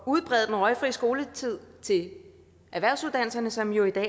at udbrede den røgfri skoletid til erhvervsuddannelserne som jo i dag